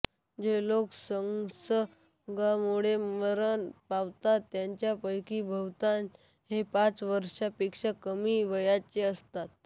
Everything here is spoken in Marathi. जे लोक संसर्गामुळे मरण पावतात त्यांच्यापैकी बहुतांश हे पाच वर्षापेक्षा कमी वयाचे असतात